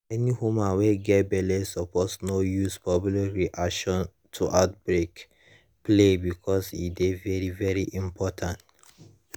any women wey get belle suppose no use public reaction to outbreak play because e dey very very important